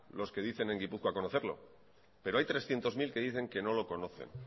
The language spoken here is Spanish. los que dicen en gipuzkoa conocerlo pero hay trescientos mil que dicen que no lo conocen